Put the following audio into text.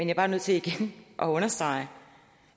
er bare nødt til igen at understrege